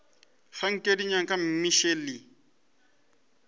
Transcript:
ga nke di nyaka mmešelet